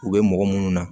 U bɛ mɔgɔ minnu na